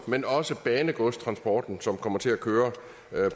men også banegodstransporten som kommer til at køre